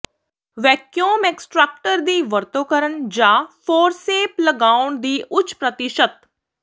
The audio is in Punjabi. ਵੈਕਿਊਮ ਐਕਸਟਾਕਟਰ ਦੀ ਵਰਤੋਂ ਕਰਨ ਜਾਂ ਫੋਰਸੇਪ ਲਗਾਉਣ ਦੀ ਉੱਚ ਪ੍ਰਤੀਸ਼ਤ